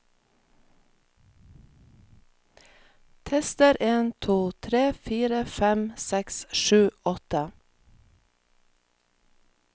Tester en to tre fire fem seks sju åtte